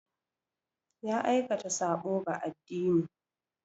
Ya aikata sabo ga addini.